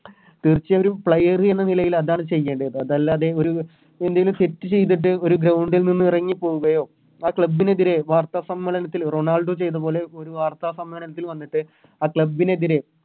തീർച്ചയായും ഒരു Player എന്ന രീതില് അതാണ് ചെയ്യേണ്ടത് അതല്ലാതെ ഒരു വലിയൊരു Set ചെയ്തിട്ട് ഒരു Ground ൽ നിന്ന് ഇറങ്ങി പോകുകയോ ആ Club നെതിരെ വാർത്ത സമ്മേളനത്തിൽ റൊണാൾഡോ ചെയ്‌ത പോലെ ഒരു വാർത്ത സമ്മേളനത്തിൽ വന്നിട്ട് ആ Club നെതിരെ